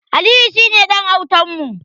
Aliyu shine ɗan autan mu.